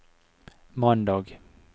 mandag